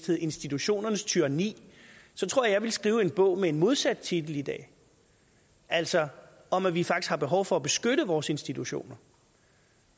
hed institutionernes tyranni ville skrive en bog med en modsat titel i dag altså om at vi faktisk har behov for at beskytte vores institutioner